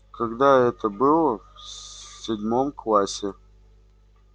когда это было в седьмом классе